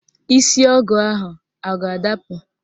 Isi ọgụ ahụ a ga-adapụ?